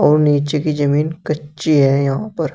और नीचे की जमीन कच्ची है यहां पर--